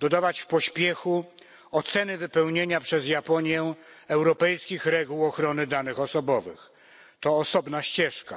dodawać w pośpiechu oceny wypełnienia przez Japonię europejskich reguł ochrony danych osobowych to osobna ścieżka.